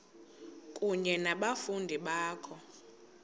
kunye nabafundi bakho